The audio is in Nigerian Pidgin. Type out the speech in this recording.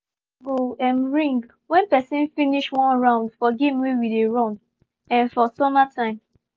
bell go um ring when person finsih one round for game wey we dey run um for summer time